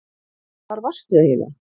Hvar varstu eiginlega?